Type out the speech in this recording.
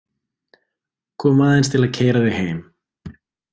Kom aðeins til að keyra þig heim.